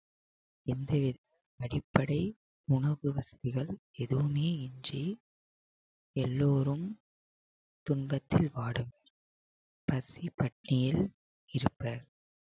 எந்தவித அடிப்படை உணவு வசதிகள் எதுவுமே இன்றி எல்லோரும் துன்பத்தில் வாடும் பசி பட்டினியில் இருப்பர்